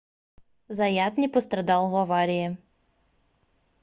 заят не пострадал в аварии